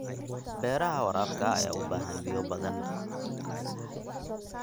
Beeraha waraabka ayaa u baahan biyo badan.